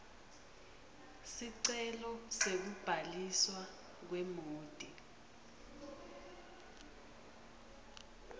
sicelo sekubhaliswa kwemoti